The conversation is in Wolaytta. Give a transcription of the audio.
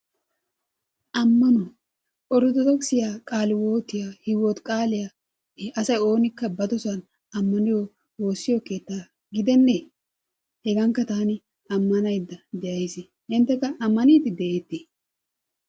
Ammanuwaa orttodokissiya, qaalewotiya, hiywotqaaliyaa i asay oonikka badosan ammaniyo woossiyo keettaa gidene? Hegankka taani ammanayiyda de'ays. Inttekka ammaniyiydi de'etiy?